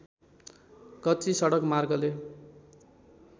कच्ची सडक मार्गले